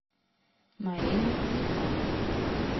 марина мякова